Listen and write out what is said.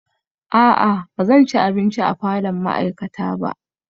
A'a ba zan ci abinci a falon ma'aikata ba